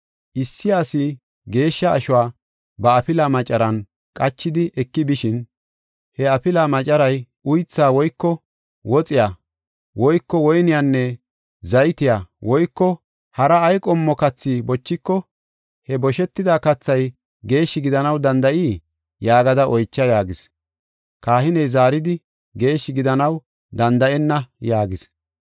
‘Issi asi geeshsha ashuwa ba afilaa macaran qachidi eki bishin, he afilaa macaray, uytha woyko woxiya woyko woyniyanne zaytiya woyko hara ay qommo kathi bochiko, he boshetida kathay geeshshi gidanaw danda7ii?’ yaagada oycha” yaagis. Kahiney zaaridi, “Geeshshi gidanaw danda7enna” yaagis.